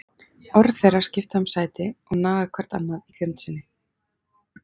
Orð þeirra skipta um sæti og naga hvert annað í grimmd sinni.